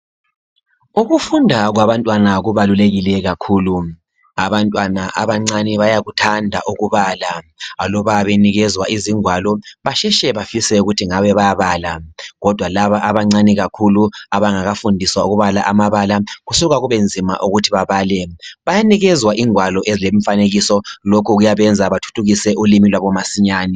Ukufunda kwabantwana kubalulekile kakhulu. Abantwana abancane bayakuthanda ukubala. Aluba benikezwa izingwalo basheshe bafise ukuthi ngabe bayabala. Kodwa laba abancane kakhulu abangakafundiswa ukubala amabala kusuka kubenzima ukuthi babale. Bayanikezwa ingwalo ezilemifanekiso, lokho kuyabenza bathuthukise ulimi lwabo masinyane.